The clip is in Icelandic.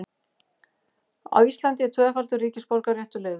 Á Íslandi er tvöfaldur ríkisborgararéttur leyfður.